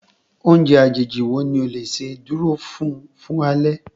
Oúnjẹ àjèjì wo ni o le ṣe dúró fún fún alẹ́?